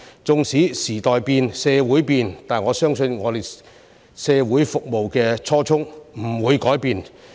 縱使時代變、社會變，但我相信我們服務社會的初衷不會改變。